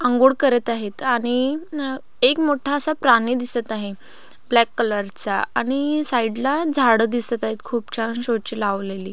आंघोळ करत आहेत आणि एक मोठासा प्राणी दिसत आहे ब्लॅक कलर चा आणि साइडला झाड दिसत आहेत खुप छान शो ची लावलेली.